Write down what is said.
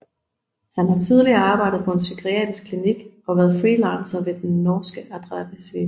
Han har tidligere arbejdet på en psykiatrisk klinik og været freelancer ved den norske Adresseavisen